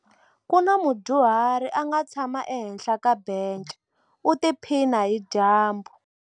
Ku na mudyuhari a nga tshama ehenhla ka bence u tiphina hi dyambu.